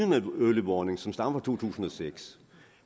med early warning som stammer fra to tusind og seks